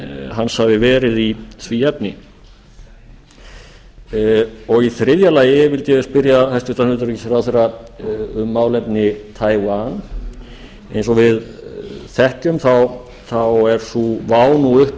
hans hafi verið í því efni í þriðja lagi vildi ég spyrja hæstvirtan utanríkisráðherra um málefni taiwan eins og við þekkjum þá er sú vá nú uppi